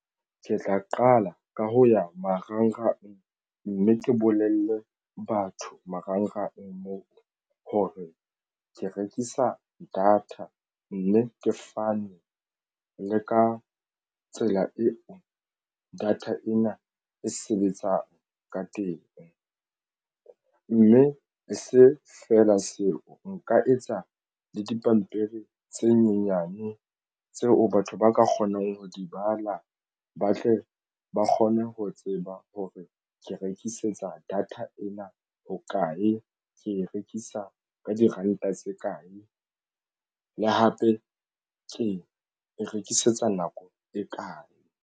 Ke tla qala ka ho ya marangrang, mme ke bolelle batho marangrang moo ho re ke rekisa data mme ke fane le ka tsela eo ka data ena e sebetsang ka teng mme se feela seo nka etsa le dipampiri tse nyenyane tseo e batho ba ka kgonang ho di bala ba tle ba kgone ho tseba ho re ke rekisetsa data ena hokae ke rekisa ka diranta tse kae le hape ke e rekisetsa nako e kae.